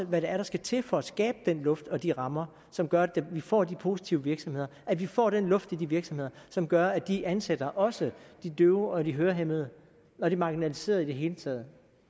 hvad det er der skal til for at skabe den luft og de rammer som gør at vi får de positive virksomheder at vi får den luft i de virksomheder som gør at de ansætter også de døve og de hørehæmmede og de marginaliserede i det hele taget